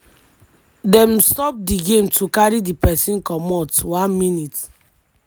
dem stop di game to carry di pesin comot 1mins-